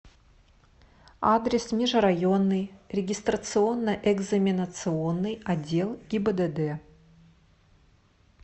адрес межрайонный регистрационно экзаменационный отдел гибдд